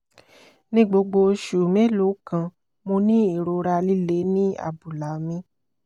ni gbogbo oṣù mélòó kan mo ní ìrora líle ní abúlá mi